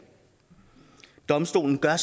domstolen gør